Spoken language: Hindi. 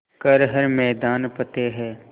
कर हर मैदान फ़तेह